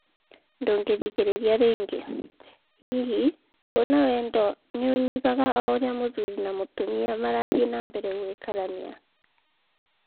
Ndũngĩthikĩrĩria rĩngĩ. Hihi kũna wendo nĩ ũnyihaga o ũrĩa mũthuri na mũtumia marathiĩ na mbere gũikarania?